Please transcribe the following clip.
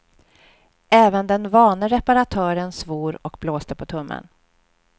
Även den vane reparatören svor och blåste på tummen.